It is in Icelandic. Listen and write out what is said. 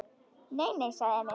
Nei, nei, sagði Emil.